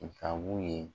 Nga mun ye